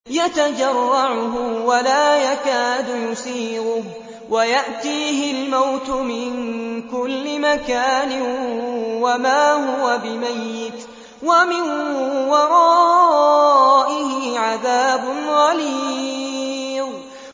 يَتَجَرَّعُهُ وَلَا يَكَادُ يُسِيغُهُ وَيَأْتِيهِ الْمَوْتُ مِن كُلِّ مَكَانٍ وَمَا هُوَ بِمَيِّتٍ ۖ وَمِن وَرَائِهِ عَذَابٌ غَلِيظٌ